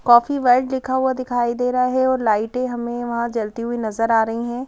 Coffee world लिखा हुआ दिखाई दे रहा है और लाइट हमें वहाँ जलती हुई नजर आ रही हैं ।